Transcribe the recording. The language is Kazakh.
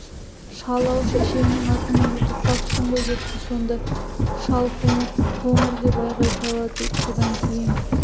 шал-ау шешеңнің атын ұмытып қапсың ғой депті сонда шал қоңыр қоңыр деп айғай салады содан кейін